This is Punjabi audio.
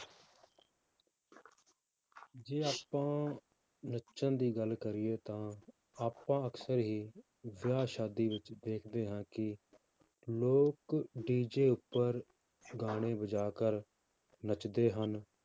ਜੇ ਆਪਾਂ ਨੱਚਣ ਦੀ ਗੱਲ ਕਰੀਏ ਤਾਂ ਆਪਾਂ ਅਕਸਰ ਹੀ ਵਿਆਹ ਸ਼ਾਦੀ ਵਿੱਚ ਦੇਖਦੇ ਹਾਂ ਕਿ ਲੋਕ DJ ਉੱਪਰ ਗਾਣੇ ਵਜਾ ਕਰ ਨੱਚਦੇ ਹਨ,